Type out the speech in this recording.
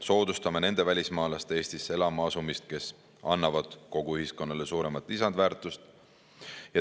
Soodustame nende välismaalaste Eestisse elama asumist, kes annavad kogu ühiskonnale suuremat lisandväärtust.